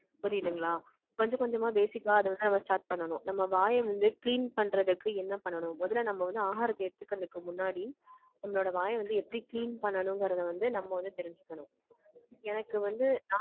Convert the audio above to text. புரியுதுங்களா? கொஞ்சம் கொஞ்சமா பேசிக்கா அதை வந்து நம்ம start பண்ணணும். நம்ம வாயை வந்து clean பண்றதுக்கு என்ன பண்ணணும்? முதல்ல நம்ம வந்து ஆகாரத்தை எடுத்துக்கறதுக்கு முன்னாடி, நம்மளோட வாயை வந்து எப்படி clean பண்ணணுங்கிறதை வந்து, நம்ம வந்து தெரிஞ்சுக்கணும். எனக்கு வந்து, நான்